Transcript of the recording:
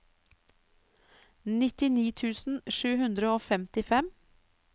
nittini tusen sju hundre og femtifem